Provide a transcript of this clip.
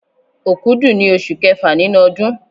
Òkúdù ni oṣù kẹfà nínú ọdún.